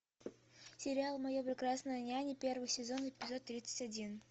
сериал моя прекрасная няня первый сезон эпизод тридцать один